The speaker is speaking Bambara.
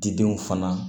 Didenw fana